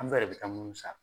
Amsa de bɛ taa mun sal